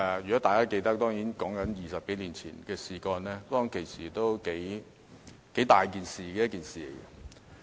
如果大家仍記得，該事件在20多年前是一件大事。